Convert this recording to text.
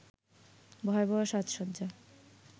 ভয়াবহ সাজসজ্জা